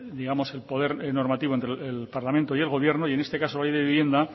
digamos el poder normativo entre el parlamento y el gobierno y en este caso la ley de vivienda